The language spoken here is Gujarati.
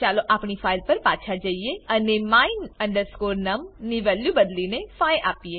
ચાલો આપણી ફાઈલ પર પાછા જઈએ અને my num ની વેલ્યુ બદલીને 5 આપીએ